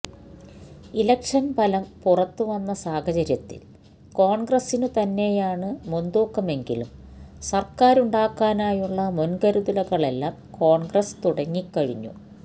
ഇലക്ഷന് ഫലം പുറത്തു വന്ന സാഹചര്യത്തില് കോണ്ഗ്രസിനു തന്നെയാണ് മുന്തൂക്കമെങ്കിലും സര്ക്കാരുണ്ടാക്കാനുള്ള മുന്കരുതലുകളെല്ലാം കോണ്ഗ്രസ് തുടങ്ങിക്കഴിഞ്ഞു